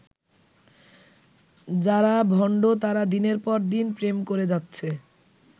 যারা ভণ্ড তারা দিনের পর দিন প্রেম করে যাচ্ছে।